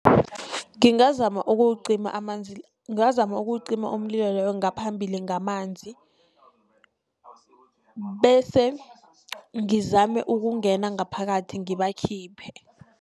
Ngingazama ukuwucima amanzi ngingazama ukuwucima umlilo loyo ngaphambili ngamanzi. Bese ngizame ukungena ngaphakathi ngibakhiphe.